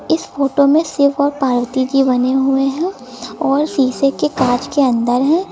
इस फोटो में शिव और पार्वती जी बने हुए हैं और शीशे के कांच के अंदर हैं।